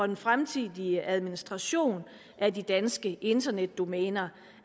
den fremtidige administration af de danske internetdomæner